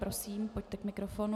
Prosím, pojďte k mikrofonu.